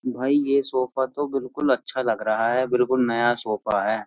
भाई ये सोफा तो बिल्कुल अच्छा लग रहा है बिल्कुल नया सोफा है।